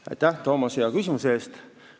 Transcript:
Aitäh, Toomas, hea küsimuse eest!